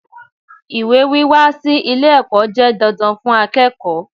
Ìwé wíwá sí ilé ẹ̀kọ́ jẹ́ didan fún akẹ́kọ̀ọ́.